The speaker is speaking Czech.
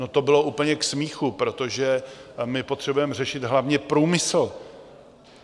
No to bylo úplně k smíchu, protože my potřebujeme řešit hlavně průmysl.